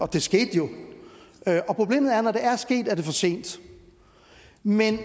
det skete jo og problemet er at når det er sket er det for sent men det